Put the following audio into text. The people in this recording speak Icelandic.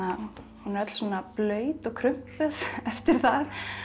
hún er öll svona blaut og krumpuð eftir það